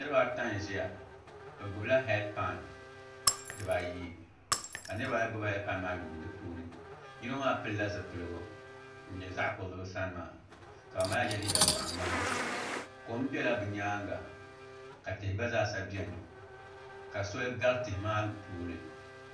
Niraba ata n ʒiya bi gbubila heed pai dibayi ka niraba ayi gbubi heed pai maa yuundi di puuni yino maa pilila zipiligu ŋun nyɛ zaɣ kurili bi sani maa ka ŋunbala maa yɛ liiga boɣa ŋmahi kom biɛla bi nyaanga ka tihi gba zaa sa biɛni ka soli gari tihi maa puuni